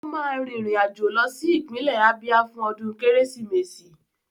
Ó máa rìnrìn àjò lọ sí ìpínlẹ̀ Ábíá fún ọdún Kérésìmesì